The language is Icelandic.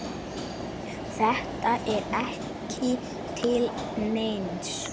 Þetta er ekki til neins.